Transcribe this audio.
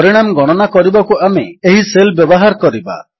ପରିଣାମ ଗଣନା କରିବାକୁ ଆମେ ଏହି ସେଲ୍ ବ୍ୟବହାର କରିବା